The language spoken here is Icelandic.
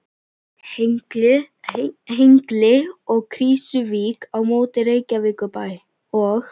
Hengli og Krýsuvík á móti Reykjavíkurbæ og